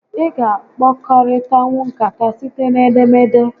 Ị ga a kpakọrịtanwu nkata site n'edemede